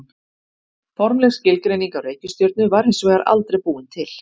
Formleg skilgreining á reikistjörnu var hins vegar aldrei búin til.